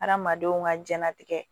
Adamadenw ka diɲɛlatigɛ